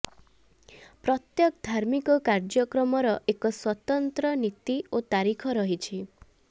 ପ୍ରତ୍ୟେକ ଧାର୍ମିକ କାର୍ୟ୍ୟକ୍ରମର ଏକ ସ୍ବତନ୍ତ୍ର ନୀତି ଓ ତାରିଖ ରହିଛି